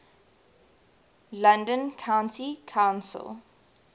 london county council